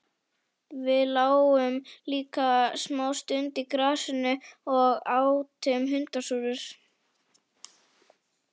Við lágum líka smá stund í grasinu og átum hundasúrur.